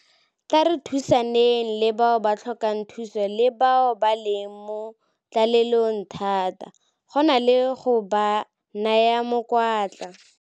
Tla re thusaneng le bao ba tlhokang thuso le bao ba leng mo tlalelong thata, go na le go ba naya mokwatla.